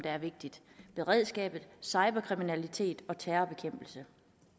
er vigtige beredskab cyberkriminalitet og terrorbekæmpelse